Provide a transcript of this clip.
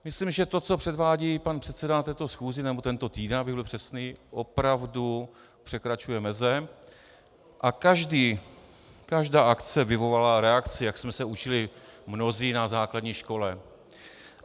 Myslím, že to, co předvádí pan předseda na této schůzi, nebo tento týden, abych byl přesný, opravdu překračuje meze, a každá akce vyvolává reakci, jak jsme se učili mnozí na základní škole.